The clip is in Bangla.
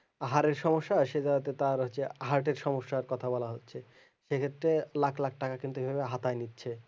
হারের সমস্যা সে জায়গাতে তার হচ্ছে heart এর সমস্যার কথা বলা হচ্ছে সেক্ষেত্রে লাখ লাখ টাকা কিন্তু এইভাবে হাতায় নিচ্ছে